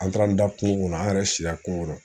An taara an da kungo kɔnɔ an yɛrɛ sira kungo kɔnɔ